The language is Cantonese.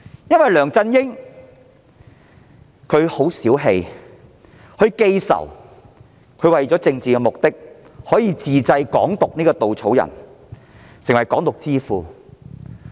由於梁振英氣量小、記仇，他為了政治目的自製"港獨"這個稻草人，成為"港獨之父"。